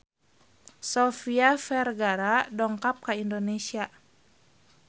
Sofia Vergara dongkap ka Indonesia